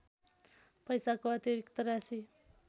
पैसाको अतिरिक्त राशि